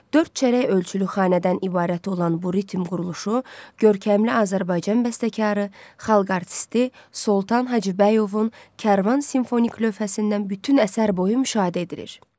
Dörd çərək ölçülü xanədən ibarət olan bu ritm quruluşu görkəmli Azərbaycan bəstəkarı, xalq artisti Soltan Hacıbəyovun Kərvan simfonik lövhəsindən bütün əsər boyu müşahidə edilir.